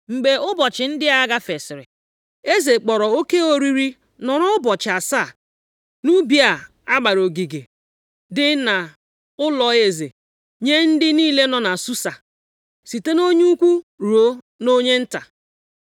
Mgbe ụbọchị ndị a gafesịrị, eze kpọrọ oke oriri nọrọ ụbọchị asaa nʼubi a gbara ogige dị nʼụlọeze, nye ndị niile nọ na Susa, site nʼonye ukwu ruo nʼonye nta.